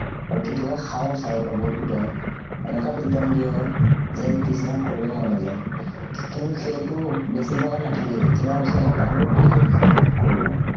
আৰু কেতিয়াবা খাওঁ sir ৰ পৰা বহুত পিটন। এনেকুৱা পিটন দিয়ে যে পিছদিনা কৰিবলৈ মন নাযায়। কিন্তু সেইটো বেছিদিনৰ কাৰনে নাথাকেই, কেইদিনমানৰ পিছত আকৌ পাহৰো, আকৌ কৰো